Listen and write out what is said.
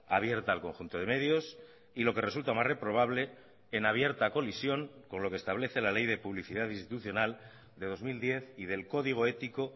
abierta al conjunto de medios y lo que resulta más reprobable en abierta colisión con lo que establece la ley de publicidad institucional de dos mil diez y del código ético